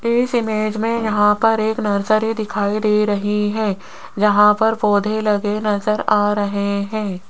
इस इमेज में यहां पर एक नर्सरी दिखाई दे रही है जहां पर पौधे लगे नजर आ रहे हैं।